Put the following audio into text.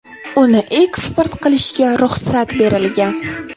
Uni eksport qilishga ruxsat berilgan.